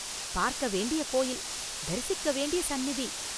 பார்க்க வேண்டிய கோயில்; தரிசிக்க வேண்டிய சந்நிதி.